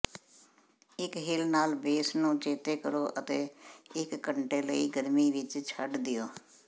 ਇੱਕ ਹਿਲ ਨਾਲ ਬੇਸ ਨੂੰ ਚੇਤੇ ਕਰੋ ਅਤੇ ਇੱਕ ਘੰਟੇ ਲਈ ਗਰਮੀ ਵਿੱਚ ਛੱਡ ਦਿਓ